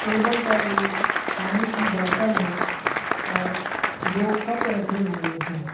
Table पर एक पानी की बॉटल है और दो कप रखे हुए है।